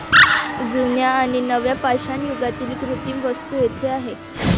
जुन्या आणि नव्या पाषाणयुगातील कृत्रिम वस्तू येथे आहेत.